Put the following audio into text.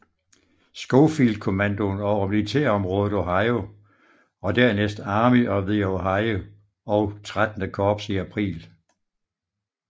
Schofield kommandoen over militærområdet Ohio og dernæst Army of the Ohio og XXIII Korps i april